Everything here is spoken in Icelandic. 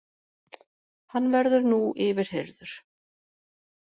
Hann verður nú yfirheyrður